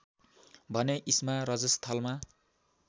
भने इस्मा रजस्थलमा